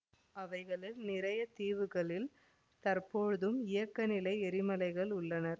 அவைகளில் நிறைய தீவுகளில் தற்போதும் இயக்க நிலை எரிமலைகள் உள்ளன